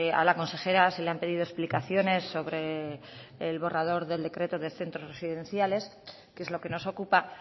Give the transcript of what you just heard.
a la consejera se le han pedido explicaciones sobre el borrador del decreto del centros residenciales que es lo que nos ocupa